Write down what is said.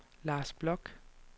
Lars Bloch